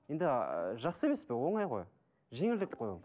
енді жақсы емес пе оңай ғой жеңілдік қой ол